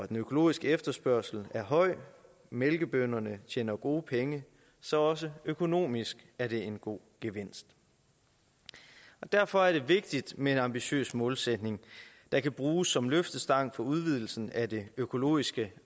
den økologiske efterspørgsel er høj mælkebønderne tjener gode penge så også økonomisk er det en god gevinst derfor er det vigtigt med en ambitiøs målsætning der kan bruges som løftestang for udvidelsen af det økologiske